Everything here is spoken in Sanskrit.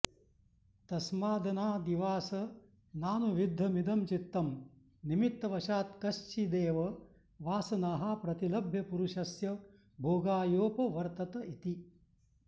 तस्मादनादिवासनानुविद्धमिदं चित्तं निमित्तवशात्कश्चिदेव वासनाः प्रतिलभ्य पुरुषस्य भोगायोपवर्तत इति